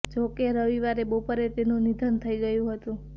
જો કે રવિવારે બપોરે તેનુ નિધન થઈ ગયું હતું